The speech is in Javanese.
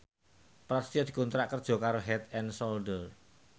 Prasetyo dikontrak kerja karo Head and Shoulder